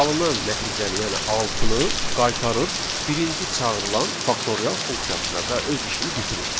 Alınan nəticəni, yəni altını qaytarır birinci çağırılan faktorial funksiyasına və öz işini bitirir.